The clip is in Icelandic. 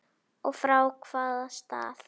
Og frá hvaða stað?